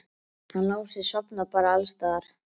Hann Lási sofnar bara alls staðar.